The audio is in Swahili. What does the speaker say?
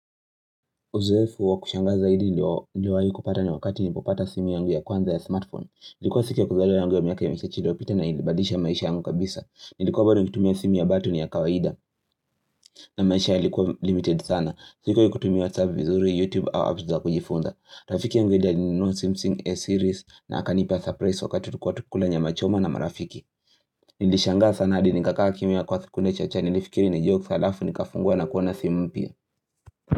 Uzoefu wa kushanga zaidi niliowai kupata ni wakati nilipopata simu yangu ya kwanza ya smartphone. Nilikuwa siku ya kuzaliwa yangu ya miaka ya michache iliyopita na ilibadirisha maisha yangu kabisa. Nilikuwa bado nikitumia simu ya batani ya kawaida na maisha yalikuwa limited sana. Sikuwahi kutumia whatsapp vizuri, youtube au apps za kujifunza. Rafiki mvili alinunua samsung a series na akanipa surprise wakati tukiwa tukikula nyamachoma na marafiki. Nilishangaa sana hadi nikakaa kimya kwa sekunde chache nilifikiri ni jokes halafu nikafungua na kuona simu mpya.